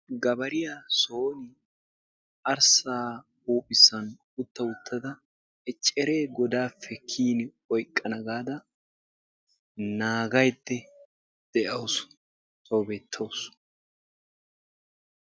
Gawariya son arssaa huphphessan utta uttada ecceree godaappe kiyin oyqqana gaada naagaydda de'awusu tawu beettawusu.